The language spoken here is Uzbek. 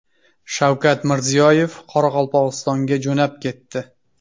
Shavkat Mirziyoyev Qoraqalpog‘istonga jo‘nab ketdi.